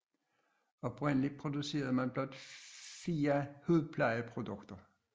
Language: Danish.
Oprindeligt producerede man blot fire hudplejeprodukter